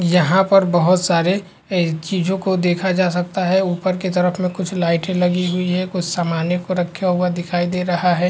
यहाँ पर बहोत सारे ए चीज़ो को देखा जा सकता है। ऊपर के तरफ कुछ लाइटे लगी हुई हैं। कुछ सामाने को रखा हुआ दिखाई दे रहा है।